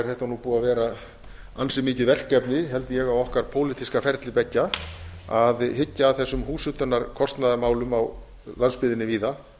er þetta búið að vera ansi mikið verkefni held ég á okkar pólitíska ferli beggja að hyggja að þessum húshitunarkostnaðarmálum á landsbyggðinni víða